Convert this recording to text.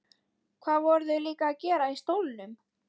Hvað voru þau líka að gera í stólnum?